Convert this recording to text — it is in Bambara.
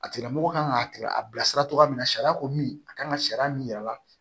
A tigilamɔgɔ kan ka a bilasira cogoya min na sariya ko min a kan ka sariya min yira a la